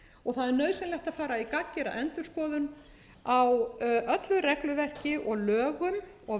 og það er nauðsynlegt að fara í gagngera endurskoðun á öllu regluverki og lögum og